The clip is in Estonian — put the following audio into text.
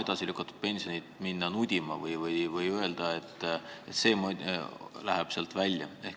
edasi lükatud pensionit nudima minna või öelda, et see läheb süsteemist välja.